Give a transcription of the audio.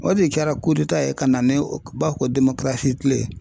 O de kɛra ye ka na ni u b'a fɔ kile.